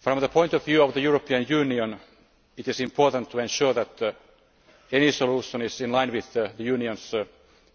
From the point of view of the European Union, it is important to ensure that any solution is in line with the Union's